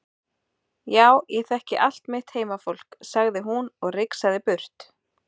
Já ég þekki allt mitt heimafólk, sagði hún og rigsaði burt.